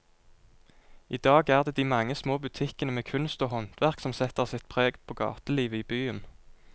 I dag er det de mange små butikkene med kunst og håndverk som setter sitt preg på gatelivet i byen.